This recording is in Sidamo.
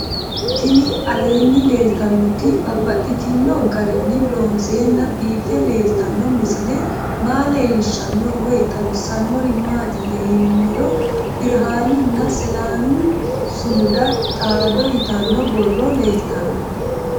Tinni aleenni leelittannotti babaxxittinno garinni loonseenna biiffe leelittanno misile maa leelishshanno woy xawisannori maattiya yinummoro birihaanninna selaami sumudu xaado yittanno borro leelittanno